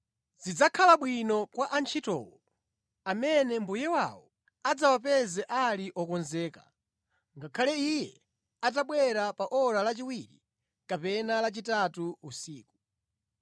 Zidzakhala bwino kwa antchitowo amene mbuye wawo adzawapeze ali okonzeka, ngakhale iye atabwera pa ora lachiwiri kapena lachitatu usiku.